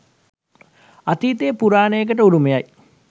අතීත පුරාණයකට උරුමයි